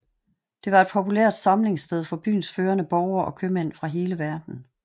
Det var et populært samlingssted for byens førende borgere og købmænd fra hele verden